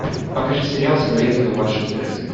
покажи сериал соболезную вашей утрате